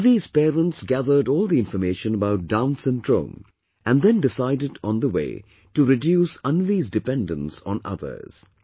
Anvi's parents gathered all the information about Down's syndrome and then decided on the way to reduce Anvi's dependence on others